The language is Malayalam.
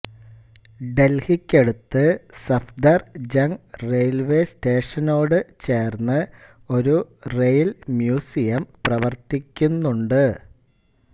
ഡൽഹിക്കടുത്ത് സഫ്ദർ ജങ് റെയിൽവേസ്റ്റേഷനോടു ചേർന്ന് ഒരു റെയിൽ മ്യൂസിയം പ്രവർത്തിക്കുന്നുണ്ട്